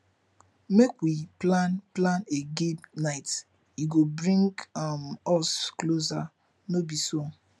make we plan plan a game night e go bring um us closer no be so